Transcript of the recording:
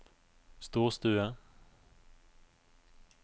storstue